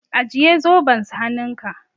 Ajiye zoben s hannunka.